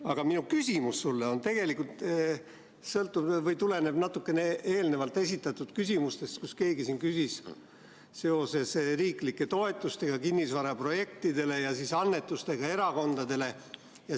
Aga minu küsimus sulle tuleneb natukene eelnevalt esitatud küsimustest, kus keegi küsis seoses riiklike toetustega kinnisvaraprojektidele ja annetustega erakondadele.